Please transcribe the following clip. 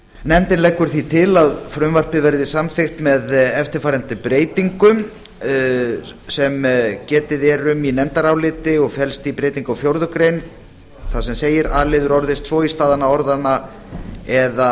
nefndin leggur því til að frumvarpið verði samþykkt með eftirfarandi breytingu sem getið er um í nefndaráliti og felst í breytingu á fjórar greinar þar sem segir a liður orðist svo í stað orðanna eða